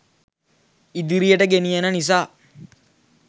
ඉදිරියට ගෙනියන නිසා